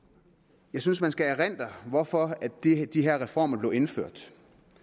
jeg synes at man skal erindre hvorfor de her reformer blev indført